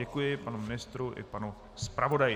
Děkuji panu ministru i panu zpravodaji.